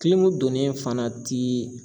donnen fana ti